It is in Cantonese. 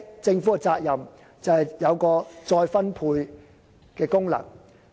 政府的責任就是發揮再分配的功能。